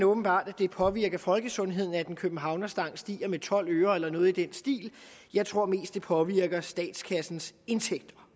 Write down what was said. åbenbart at det påvirker folkesundheden at en københavnerstang stiger med tolv øre eller noget i den stil jeg tror mest det påvirker statskassens indtægter